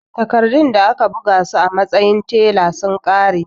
Takardun da aka bugo su a matsayin tela sun ƙare